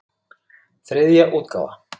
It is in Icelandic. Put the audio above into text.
Þriðja útgáfa.